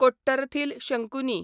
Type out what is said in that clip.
Kottarathil Shankuni